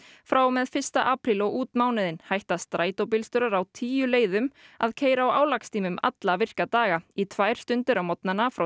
frá og með fyrsta apríl og út mánuðinn hætta strætóbílstjórar á tíu leiðum að keyra á álagstímum alla virka daga í tvær stundir á morgnana frá